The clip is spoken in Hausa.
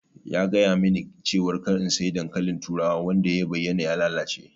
Ya gayamin ni cewa kada in sayi dankalin turawa wanda ya bayyana ya lalace.